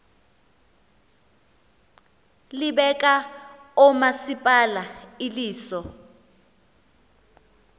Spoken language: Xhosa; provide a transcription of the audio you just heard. libeka oomasipala iliso